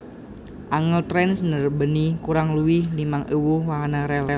Angel Trains ndarbèni kurang luwih limang ewu wahana rèl